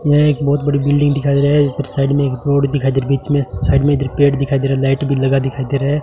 यह एक बहोत बड़ी बिल्डिंग दिखाई दे रहा है इधर साइड में एक रोड दिखा दे रहा है बीच में साइड में इधर पेड़ दिखाइ दे रहा है लाइट भी लगा दिखाई दे रहा है।